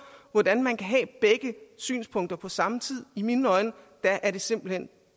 hvordan man kan have begge synspunkter på samme tid i mine øjne er er det simpelt hen